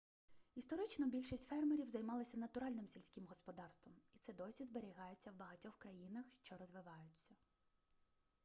історично більшість фермерів займалися натуральним сільським господарством і це досі зберігається в багатьох країнах що розвиваються